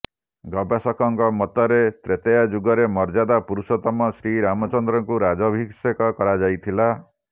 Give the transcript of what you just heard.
ଗବେଷକଙ୍କ ମତରେ ତ୍ରେତୟା ଯୁଗରେ ମର୍ଯ୍ୟାଦା ପୁରୁଷୋତ୍ତମ ଶ୍ରୀରାମଚନ୍ଦ୍ରଙ୍କୁ ରାଜାଭିଷେକ କରାଯାଇଥିଲା